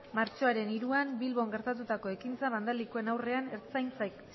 martxoaren hiruan bilbon gertatutako ekintza bandalikoen aurrean ertzaintza